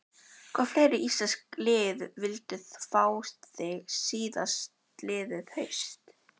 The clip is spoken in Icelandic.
Hvaða fleiri íslensk lið vildu fá þig síðastliðið haust?